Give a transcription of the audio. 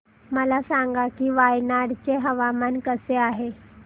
मला सांगा की वायनाड चे हवामान कसे आहे